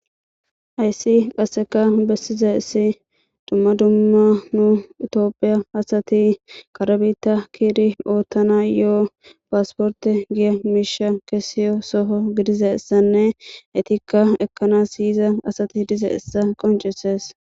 ayssi qasseka bessiza issi dumma dumma nu itoophiya asati karbita kiiri oottana yo7o paasporte giya miisha kesiyo soho gidize essanne etikka ekkanas yyiza asati idize essa qoncisees